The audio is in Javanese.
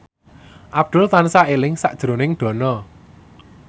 Abdul tansah eling sakjroning Dono